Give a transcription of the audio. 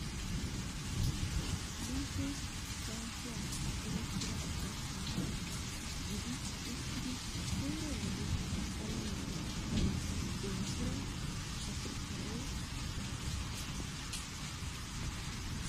Baappee kuwaasiya erettida kaassanchcha gidi uttidi koyro wode alamiya wanccaa denttida afirkkaawe asa.